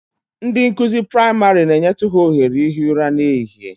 Ndị nkụzi praịmarị na-enyetụ ha ohere ihi ụra n'ehihie